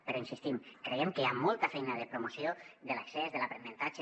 però hi insistim creiem que hi ha molta feina de promoció de l’accés de l’aprenentatge